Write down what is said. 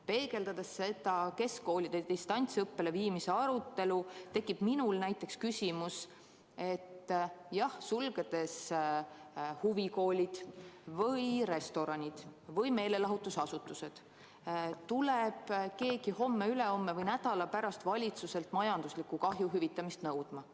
Mõeldes keskkoolide distantsõppele viimise arutelule, tekib mul küsimus, et kui sulgeda huvikoolid või restoranid või meelelahutusasutused, siis kas tuleb keegi homme-ülehomme või nädala pärast valitsuselt majandusliku kahju hüvitamist nõudma.